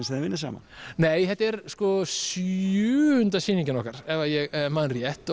sem þið vinnið saman nei þetta er sjöunda sýningin okkar ef ég man rétt